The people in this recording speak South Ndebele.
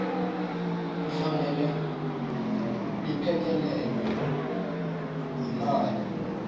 kufanele liphekelelwe yimali